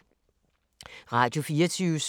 Radio24syv